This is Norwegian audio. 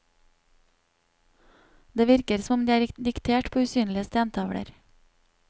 Det virker som om de er diktert på usynlige stentavler.